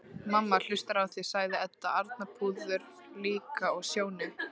Mamma hlustar á þig, sagði Edda, Arnþrúður líka, og Sjóni.